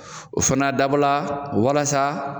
O fana dabɔla walasa.